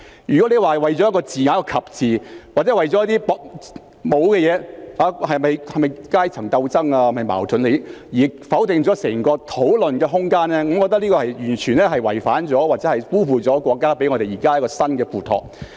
如果說為了一個"及"字，或為了一些根本沒有的事，例如這是否階層鬥爭或是否利益矛盾而否定整個討論的空間，我認為這是完全違反或辜負了國家現在給我們的新付託。